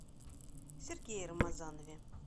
сергее рамазанове